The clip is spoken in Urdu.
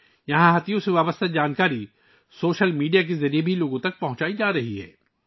یہاں ہاتھیوں سے متعلق معلومات بھی سوشل میڈیا کے ذریعے لوگوں تک پہنچائی جا رہی ہیں